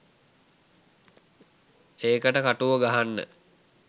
ඒකට කටුව ගහන්න